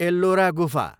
एल्लोरा गुफा